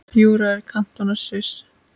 Júra er kantóna í Sviss.